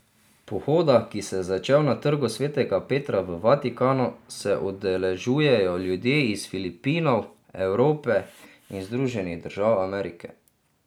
Pohoda, ki se je začel na trgu Svetega Petra v Vatikanu, se udeležujejo ljudje iz Filipinov, Evrope in Združenih držav Amerike.